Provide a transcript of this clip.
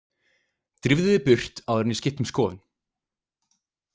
Drífðu þig burt áður en ég skipti um skoðun.